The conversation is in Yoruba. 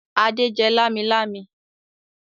Adé jẹ lámilámi?